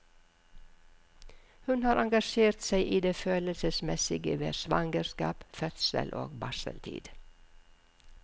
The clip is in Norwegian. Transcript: Hun har engasjert seg i det følelsesmessige ved svangerskap, fødsel og barseltid.